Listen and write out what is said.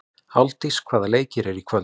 Álfdís, hvaða leikir eru í kvöld?